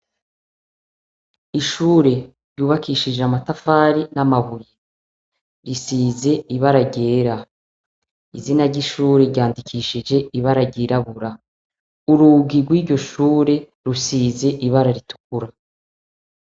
Ishure ryubakishijwe amatafari namabuye risize ibara ryera izina ry'ishure ryandikishije ibara ry'irabura, ururyi rwiryo shure rusize ibara ritukura.